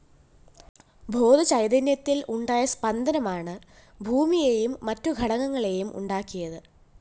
ബോധചൈതന്യത്തില്‍ ഉണ്ടായ സ്പന്ദനമാണ് ഭൂമിയും മറ്റു ഘടകങ്ങളെയും ഉണ്ടാക്കിയത്